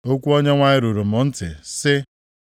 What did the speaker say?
Okwu Onyenwe anyị ruru m ntị, sị,